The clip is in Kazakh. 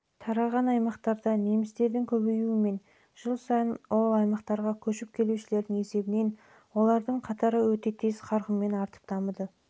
тараған аймақтарда немістердің көбеюі мен жыл сайын ол аймақтарға көшіп келушілердің есебінен олардың қатары өте тез қарқынмен артып